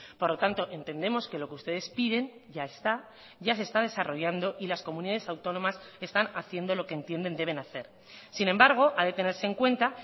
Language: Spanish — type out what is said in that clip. por lo tanto entendemos que lo que ustedes piden ya está ya se está desarrollando y las comunidades autónomas están haciendo lo que entienden deben hacer sin embargo ha de tenerse en cuenta